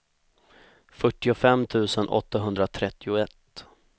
fyrtiofem tusen åttahundratrettioett